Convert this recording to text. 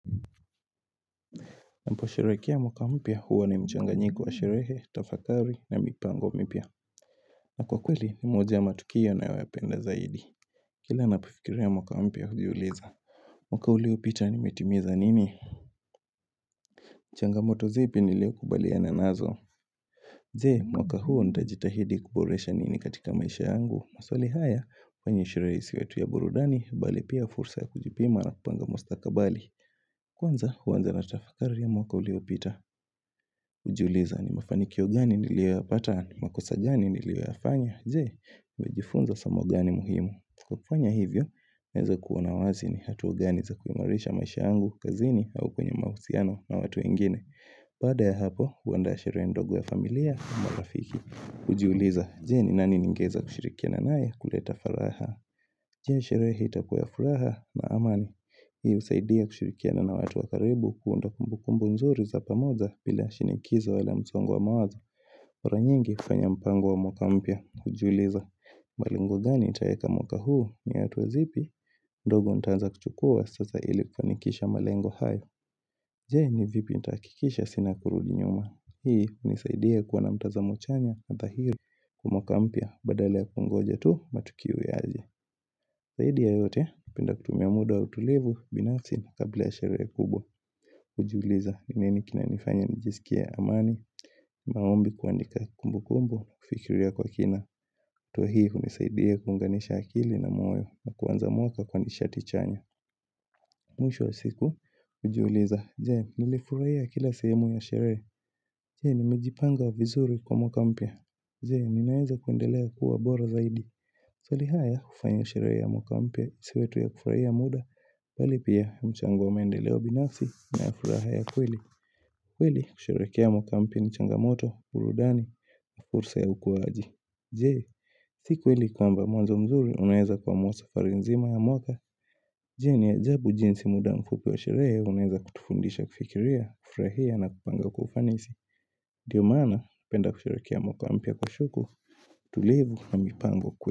Nampo sheherekea mwaka mpya huwa ni mchanga nyiko wa sherehe, tafakari na mipango mpya. Na kwa kweli ni moja matukio na yoyapenda zaidi. Kila napifikiria mwaka mpia hujiuliza. Mwaka ulio pita nimetimiza nini? Changamoto zipi nilio kubalia na nazo. Jee mwaka huwa ndajitahidi kuboresha nini katika maisha yangu. Maswali haya kwenye shireisi wetu ya burudani, bali pia fursa ya kujipima na kupanga musta kabali. Kwanza huwanza na tafakari ya mwaka ulio pita. Ujuliza ni mafanikio gani niliwea pata, ni makosajani niliweafanya Jee, wejifunza samo gani muhimu Kupanya hivyo, meza kuona wazi ni hatuwa gani za kuimarisha maisha angu, kazini au kwenye mausiano na watu ingine baada ya hapo, uanda shirendogo ya familia, marafiki Ujuliza, jee ni nani ningeza kushirikia na nae kuleta faraha Jee sherehe hita kuyafuraha na amani Hii usaidia kushirikia na na watu wakaribu kuundokumbukumbu nzuri za pamoza bila shinikizo wale mzongo wa mawaza Ura nyingi kufanya mpango wa mwakampia, hujuliza malengo gani itayeka mwaka huu ni atuazipi, ndogo ntanza kuchukua sasa ili kwanikisha malengo hayo Je ni vipi ntakikisha sina kurudinyuma Hii nisaidia kuwana mtaza mchanya na tahiru kumwakampia badale ya kungoja tu matukiu ya aje Zaidi ya yote, pinda kutumia muda utulivu, binafsi kabla ya sherehe kubwa Ujuliza, nini kina nifanya nijisikia amani, maombi kuandika kumbu kumbu, fikiria kwa kina Tuahii kunisaidia kunganisha akili na moyo, na kuwanza moka kwa nishati chanya Mwisho siku, ujuliza, je, nilifuraya kila semu ya shere Je, nimejipanga vizuri kwa mwakampia Je, ninaeza kuendelea kuwa bora zaidi Swalihaya kufanya kushireke ya mwakampi ya isi wetu ya kufurahia muda Balipia mchangu wa mendeleo binasi na ya furaha ya kweli kweli kushireke ya mwakampya nchangamoto, burudani, na fursa ya ukuwaji Jee, siku hili kwa mba mwazo mzuri unaeza kwa mwaza farinzima ya mwaka Jee ni ajabu jinsi muda mfupi wa shireke unaeza kutufundisha kufikiria, kufraia na kupanga kufanisi Dio mana penda kushireke ya mwakampi ya kwa shuku, tulevu na mipango kwe.